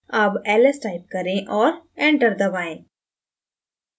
अब ls type करें और enter दबाएँ